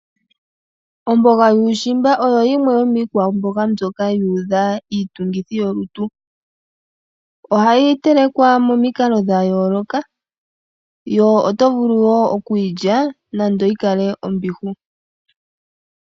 Omboga yuushimba oyo yimwe yomiikwamboga mbyoka yu udha iitungithi yolutu. Ohayi telekwa mo mikalo dha yooloka, yo oto vulu wo oku yilya nando yi kale ombihu.